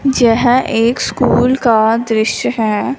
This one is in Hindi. जह एक स्कूल का दृश्य है।